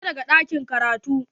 Fita daga ɗakin karatu.